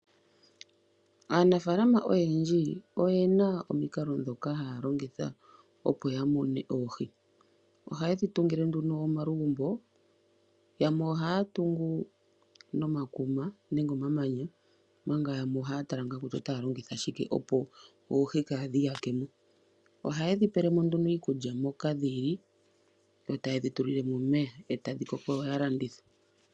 Aanafalama oyendji oyena omikalo ndhoka haya longitha opo ya mune oohi. Ohaye dhi tungile nduno omalugumbo, yamwe ohaya tungu nomakuma nenge omamanya, omanga yamwe ohaya tala ngaa kutya otaya longitha shike opo oohi kadhi iyake mo. Ohaye dhipele mo nduno iikulya moka dhili, yo taye dhipele mo omeya etadhi koko yo yalandithe.